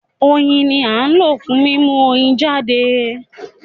Oyin ni à ń lò fún mímú Oyin jáde